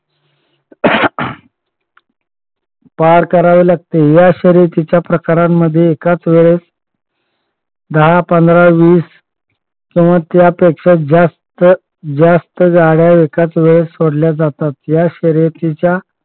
पार करावे लागते. या शर्यतीच्या गटामध्ये एकाच वेळेस दहा पंधरा वीस किंवा त्यापेक्षा जास्त जास्त गाड्या एकाच वेळेस सोडल्या जातात. ह्या शर्यतीच्या